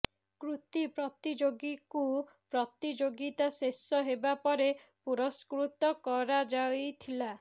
କୃତୀ ପ୍ରତିଯୋଗୀଙ୍କୁ ପ୍ରତିଯୋଗିତା ଶେଷ ହେବା ପରେ ପୁରସ୍କୃତ କରାଯାଇଥିଲା